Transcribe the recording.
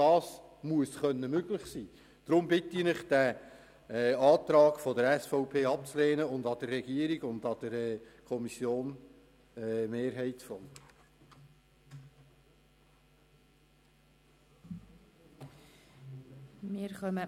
Ich bitte Sie deshalb, den Antrag der SVP abzulehnen und dem Antrag der Regierung und der Kommissionsmehrheit zu folgen.